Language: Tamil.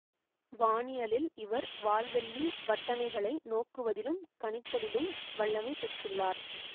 வானியலில் இவர் வால்வெள்ளி வட்டணைகளை நோக்குவதிலும் கணித்தலிலும் வல்லமை பெற்றுள்ளார்